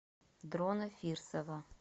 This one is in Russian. дрона фирсова